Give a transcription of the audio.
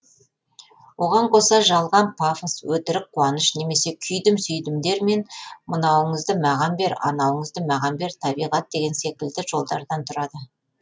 оған қоса жалған пафос өтірік қуаныш немесе күйдім сүйдімдер мен мынауыңызды маған бер анауыңызды маған бер табиғат деген секілді жолдардан тұрады